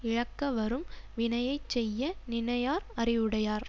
இழக்க வரும் வினையை செய்ய நினையார் அறிவுடையார்